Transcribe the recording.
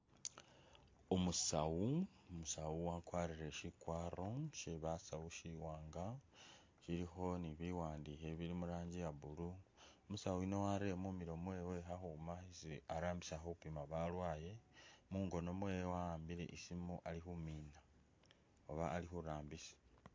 Umusawu, Umusawu wakwarire shikwaro she basawu shiwanga shilikho ni biwandikho ibili muranji ye blue ,umusawu yuno warere mumilo mwewe khakhuuma isi arambisa khupima balwale ,mungono mwewe wa'ambile isimu alikhumina oba ali khurambisa